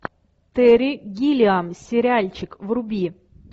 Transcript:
терри гиллиам сериальчик вруби